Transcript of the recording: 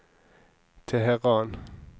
Teheran